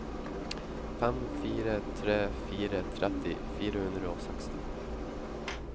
fem fire tre fire tretti fire hundre og seksten